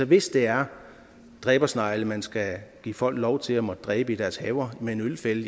hvis det er dræbersnegle man skal give folk lov til at måtte dræbe i deres haver med en ølfælde